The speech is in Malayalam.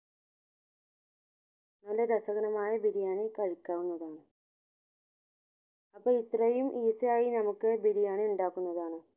നല്ല രസകരമായ ബിരിയാണി കഴിക്കാവുന്നതാണ് അപ്പൊ ഇത്രയും easy ആയി നമുക്ക് ബിരിയാണി ഉണ്ടാക്കുന്നതാണ്